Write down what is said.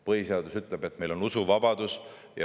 Põhiseadus ütleb, et meil on usuvabadus.